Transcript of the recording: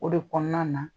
O de kɔnɔna na